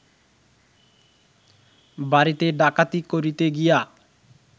বাড়িতে ডাকাতি করিতে গিয়া